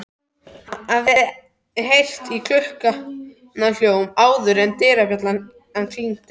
Hafði heyrt klukknahljóm áður en dyrabjallan klingdi.